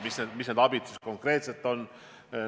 Milline see abi konkreetselt on?